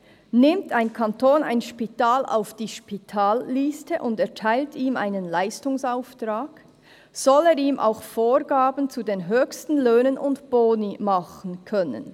Nimmt ein Kanton ein Spital auf die Spitalliste und erteilt ihm einen Leistungsauftrag, soll er ihm auch Vorgaben zu den höchsten Löhnen und Boni machen können.»